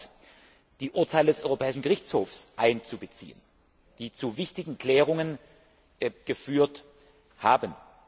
Zweitens sind die Urteile des Europäischen Gerichthofs einzubeziehen, die zu wichtigen Klärungen geführt haben.